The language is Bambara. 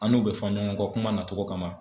An n'u bɛ fɔn ɲɔgɔn kɔ kuma nacogo kama.